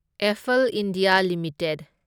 Affle India limited